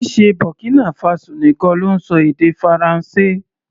Kìí ṣe Burkina Faso nìkan ló ń ṣọ èdè Faransé.